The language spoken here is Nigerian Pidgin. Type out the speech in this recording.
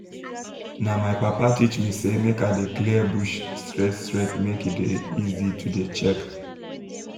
na my papa teach me say make i dey clear bush straight straight make e dey easy to dey check